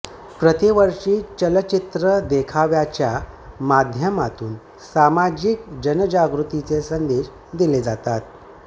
प्रतिवर्षी चलचित्र देखाव्याच्या माध्यमातून सामाजिक जनजागृतीचे संदेश दिले जातात